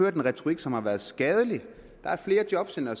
en retorik som har været skadelig der er flere jobcentre